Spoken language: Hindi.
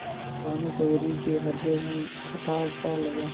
भानुकुँवरि के हृदय में कुठारसा लगा